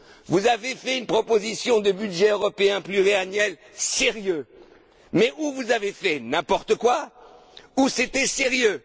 Vous avez fait une proposition de budget européen pluriannuel sérieux, mais ou bien vous avez fait n'importe quoi, ou bien c'était sérieux.